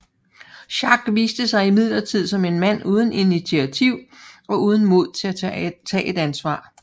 Schack viste sig imidlertid som en mand uden initiativ og uden mod til at tage et ansvar